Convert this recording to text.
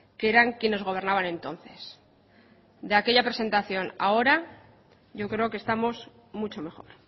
que eran quienes gobernaban entonces de aquella presentación a ahora yo creo que estamos mucho mejor